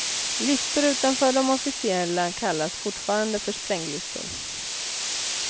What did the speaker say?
Listor utanför de officiella kallas fortfarande för spränglistor.